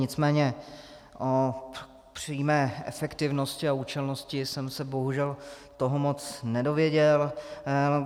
Nicméně o přímé efektivnosti a účelnosti jsem se bohužel toho moc nedověděl.